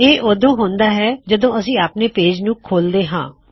ਇਹ ਉਦੋਂ ਹੁੰਦਾ ਹੈ ਜਦੋ ਅਸੀਂ ਆਪਣੇ ਪੇਜ ਨੂੰ ਖੋਲਦੇ ਹਾਂ